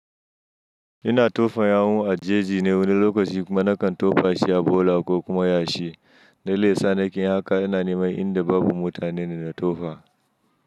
Ina tofa yawu a jeji ne wani lokaci kuma nakan tofa shi a bola ko kuma yashi. Dalilin da yasa nake yin haka ina neman inda babu mutane ina tofa.